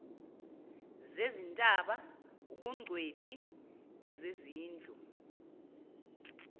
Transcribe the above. zezintaba ubungcweti bezezindlu